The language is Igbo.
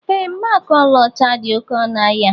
Ee, Mgbaaka ọlaọcha dị oké ọnụ ahịa